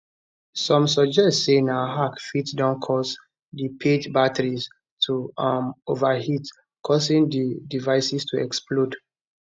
some suggest say na hack fit don cause di pager batteries to um overheat causing di devices to explode